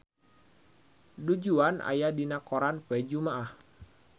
Du Juan aya dina koran poe Jumaah